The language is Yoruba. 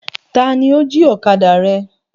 Taàní ó jí ọ̀kadà rẹ?